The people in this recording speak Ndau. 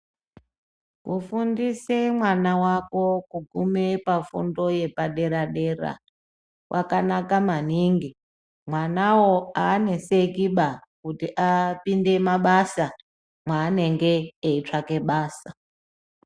Kufundise mwana wako kuguma pafundo yepa dera dera kwakanaka maningi mwanawo aaneseki ba kuti apinde mabasa mwaanenge eitsvake mabasa .